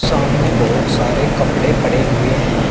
सामने बहुत सारे कपड़े पड़े हुए हैं।